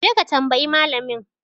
Je ka tambayi malamin!